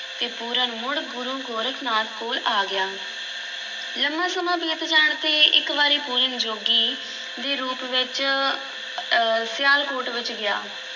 ਤੇ ਪੂਰਨ ਮੁੜ ਗੁਰੂ ਗੋਰਖ ਨਾਥ ਕੋਲ ਆ ਗਿਆ ਲੰਮਾ ਸਮਾਂ ਬੀਤ ਜਾਣ ਤੇ ਇੱਕ ਵਾਰੀ ਪੂਰਨ ਜੋਗੀ ਦੇ ਰੂਪ ਵਿੱਚ ਸਿਆਲਕੋਟ ਵਿੱਚ ਗਿਆ l